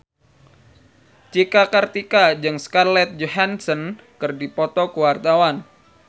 Cika Kartika jeung Scarlett Johansson keur dipoto ku wartawan